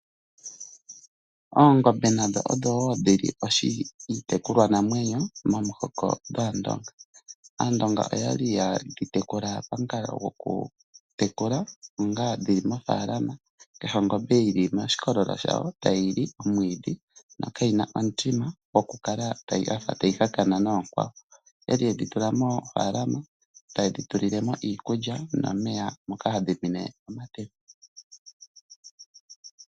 Oongombe nadho odho wo dhili iitikulwa namwenyo momuhoko gwaandonga , aandonga oya li yatekula pamukalo gwokutekula onga dhili mofaalama, kehe ongombe yili moshikololo shayo tayili omwiidhi no kayina omutima gwokukala yafa tayi hakana noonkwawo, yali yedhi tula moofaalama tayedhi tulilemo iikulya nomeya moka hadhi nwine metemba.